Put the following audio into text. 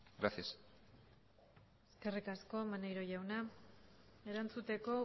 gracias eskerrik asko maneiro jauna erantzuteko